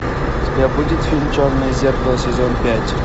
у тебя будет фильм черное зеркало сезон пять